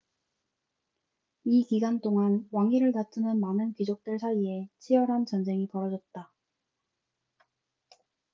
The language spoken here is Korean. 이 기간 동안 왕위를 다투는 많은 귀족들 사이에 치열한 전쟁이 벌어졌다